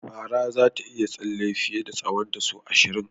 Fara zata iya tsalle fiye da tsahonta sau ashirin.